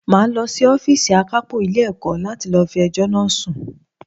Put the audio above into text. Màá lọ sí Ófììsì àkápò Ilé ẹ̀kọ́ láti lọ fi ẹjọ́ náà sun